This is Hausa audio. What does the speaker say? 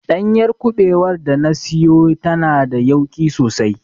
Ɗanyar kubewar da na siyo tana da yauƙi sosai.